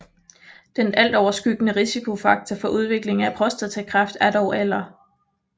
Den altoverskyggende risikofaktor for udviklingen af prostatakræft er dog alder